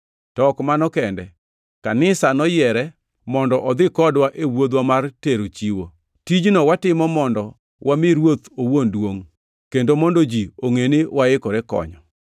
To ok mano kende, kanisa noyiere mondo odhi kodwa e wuodhwa mar tero chiwo. Tijno watimo mondo wami Ruoth owuon duongʼ kendo mondo ji ongʼe ni waikore konyo.